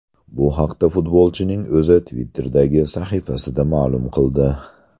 Bu haqda futbolchining o‘zi Twitter’dagi sahifasida ma’lum qildi .